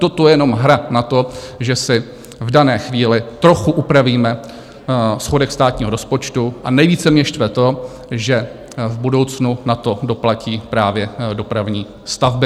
Toto je jenom hra na to, že si v dané chvíli trochu upravíme schodek státního rozpočtu, a nejvíce mě štve to, že v budoucnu na to doplatí právě dopravní stavby.